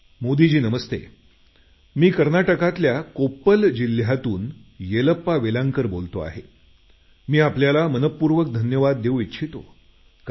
मोदीजी नमस्ते मी कर्नाटकातल्या कोप्पल जिल्ह्यातून येलप्पा वेलांकर बोलतो आहे मी आपल्याला मनपूर्वक धन्यवाद देऊ इच्छितो